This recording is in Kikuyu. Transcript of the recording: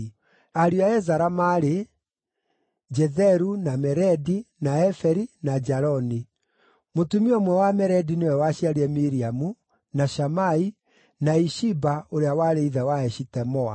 Ariũ a Ezara maarĩ: Jetheru, na Meredi, na Eferi, na Jaloni. Mũtumia ũmwe wa Meredi nĩwe waciarire Miriamu, na Shamai, na Ishiba ũrĩa warĩ ithe wa Eshitemoa.